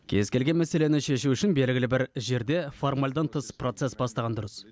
кез келген мәселені шешу үшін белгілі бір жерде формальдан тыс процесс бастаған дұрыс